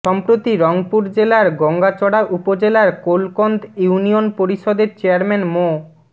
সম্প্রতি রংপুর জেলার গঙ্গাচড়া উপজেলার কোলকন্দ ইউনিয়ন পরিষদের চেয়ারম্যান মো